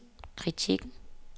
kritikken